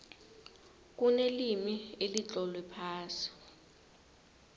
kunelimi elitlolwe phasi